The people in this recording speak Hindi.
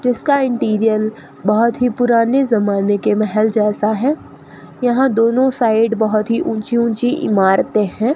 जिसका इंटीरियर बहोत ही पुराने जमाने के महल जैसा है यहां दोनों साइड बहोत ही ऊंची ऊंची इमारतें हैं।